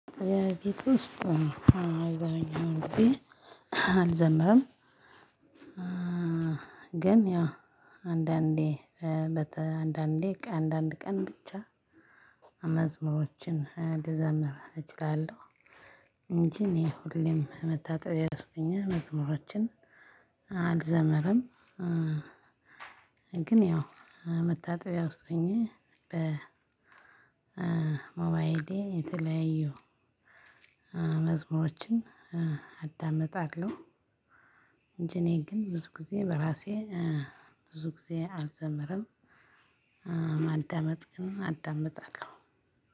የቤት ውስጥ አልዘመርም ግን ያ አንዳንዴ አንዳንድ ቀን ብቻ መዝሙሮችን ልዘምር እችላለሁ። እንጂ እኔ ሁሌም መታጠቢያ ውስጥ ሁኜ መዝሙሮችን አልዘመርም። ግን ያው መታጠቢያ ውስጥ ሁኜ በ ሞባይሌ የተለያዩ መዝሙሮችን አዳምጣለሁ። እንጂ እኔ ግን ብዙ ጊዜ በራሴ ብዙ ጊዜ አልዘምርም። ማዳመጥ ግን አዳምጣለሁ።